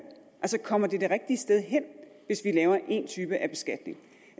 kommer det det rigtige sted hen hvis vi laver en type af beskatning